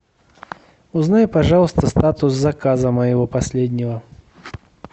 узнай пожалуйста статус заказа моего последнего